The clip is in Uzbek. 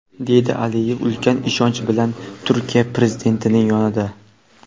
deydi Aliyev ulkan ishonch bilan Turkiya Prezidentining yonida..